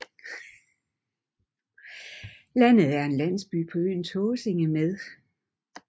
Landet er en landsby på øen Tåsinge med